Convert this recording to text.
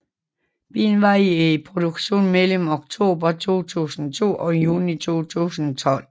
Bilen var i produktion mellem oktober 2002 og juni 2012